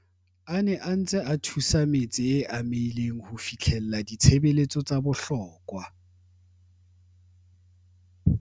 a ne a ntse a thusa metse e amehileng ho fihlella ditshebeletso tsa bohlokwa.